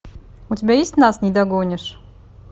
у тебя есть нас не догонишь